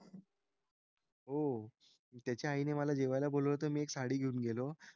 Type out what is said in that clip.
हो. त्याच्या आईने मला बोलवलं होतं मी एक साडी घेऊन गेलो.